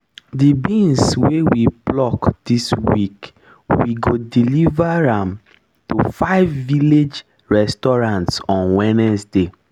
the beans wey we pluck this week we go deliver am fresh to five village restaurants on wednesday